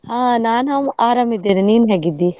ಹಾ ನಾನ್ ಆರಾಮ್ ಇದ್ದೇನೆ, ನೀನ್ ಹೇಗಿದ್ದಿ?